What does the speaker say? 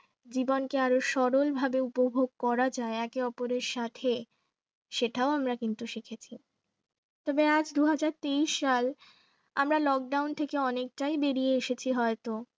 জীবনকে আরো সরল ভাবে উপভোগ করা যায় একে অপরের সাথে সেটাও আমরা কিন্তু শিখেছি তবে আজ দুহাজার তেইশ সাল আমরা lockdown থেকে অনেকটাবেরিয়ে এসেছি হয়তো